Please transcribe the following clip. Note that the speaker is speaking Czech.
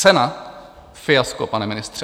Cena - fiasko, pane ministře.